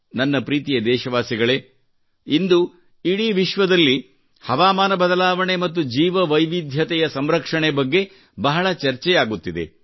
ನನ್ನ ಪ್ರೀತಿಯ ದೇಶವಾಸಿಗಳೇ ಇಂದು ಇಡೀ ವಿಶ್ವದಲ್ಲಿ ಹವಾಮಾನ ಬದಲಾವಣೆ ಮತ್ತು ಜೀವವೈವಿಧ್ಯದ ಸಂರಕ್ಷಣೆ ಬಗ್ಗೆ ಬಹಳ ಚರ್ಚೆಯಾಗುತ್ತಿದೆ